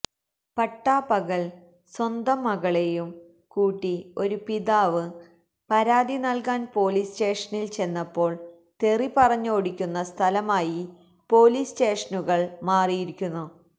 പട്ടാപകല് സ്വന്തം മകളെയും കൂട്ടി ഒരുപിതാവ് പരാതി നല്കാന് പോലീസ് സ്റ്റേഷനില് ചെന്നപ്പോള് തെറിപറഞ്ഞോടിക്കുന്ന സ്ഥലമായി പോലീസ് സ്റ്റേഷനുകള് മാറിയിരിക്കുന്നു